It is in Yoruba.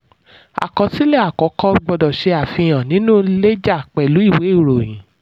àkọsílẹ̀ àkọ́kọ́ gbọdọ̀ ṣe àfihàn nínú lẹ́jà pẹ̀lú ìwé ìròyìn.